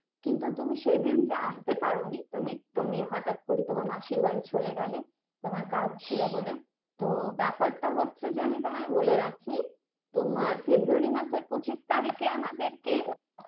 কিন্তু তুমি সেদিনটা আস্তে পারোনি তুমি তুমি হঠাৎ করে তোমার মাসির বাড়ি চলে গেলে তোমার কাজ ছিল বলে তো ব্যাপারটা হচ্ছে যে আমি তোমায় বলে রাখি তোমার February মাসের পঁচিশ তারিখে আমাদের কে